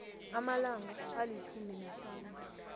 amalanga alitjhumi nahlanu